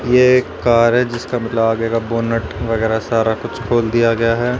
ये एक कार है जिसका मतलब आगे का बोनट वगैरह सारा कुछ खोल दिया गया है।